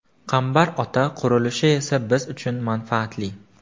Qambar Ota qurilishi esa biz uchun manfaatli.